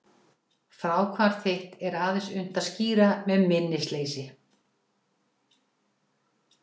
Fráhvarf þitt er aðeins unnt að skýra með minnisleysi.